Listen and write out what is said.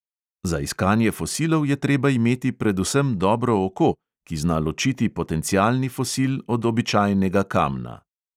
Za iskanje fosilov je treba imeti predvsem dobro oko, ki zna ločiti potencialni fosil od običajnega kamna.